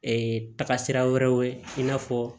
tagamasira wɛrɛw ye i n'a fɔ